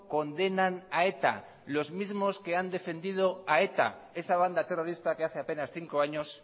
condenan a eta los mismos que han defendido a eta esa banda terrorista que hace apenas cinco años